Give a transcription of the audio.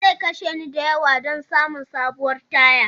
Zai kashe ni da yawa don samun sabuwar taya.